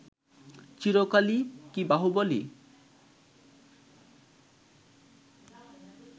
চিরকালই কি বাহুবলই